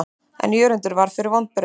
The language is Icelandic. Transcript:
En Jörundur varð fyrir vonbrigðum.